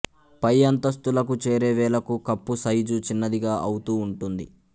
పై అంతస్తులకు చేరే వేళకు కప్పు సైజు చిన్నదిగా ఔతూ ఉంటుంది